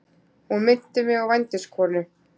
Hún minnti mig á vændiskonu.